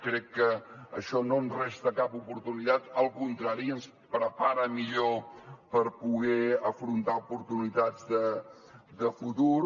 crec que això no ens resta cap oportunitat al contrari ens prepara millor per poder afrontar oportunitats de futur